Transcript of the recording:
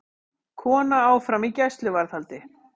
Kona áfram í gæsluvarðhaldi